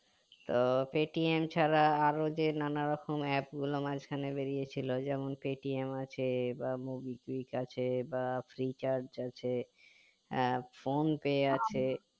তো Paytm ছাড়া আরো যে নানা রকম aap গুলো মাঝ খানে বেরিয়ে ছিল যেমন paytm আছে বা movie quick আছে বা freecharge আছে আহ Phonepe আছে